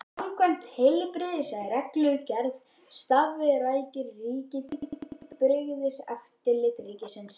Samkvæmt heilbrigðisreglugerð starfrækir ríkið Heilbrigðiseftirlit ríkisins.